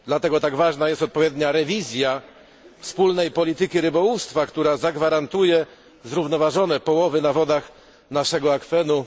Dlatego tak ważna jest odpowiednia rewizja wspólnej polityki rybołówstwa, która zagwarantuje zrównoważone połowy na wodach naszego akwenu.